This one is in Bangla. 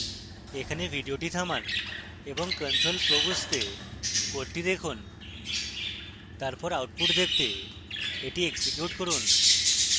এখানে video থামান এবং control flows বুঝতে code দেখুন তারপর আউটপুট দেখতে এটি এক্সিকিউট করুন